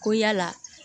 Ko yala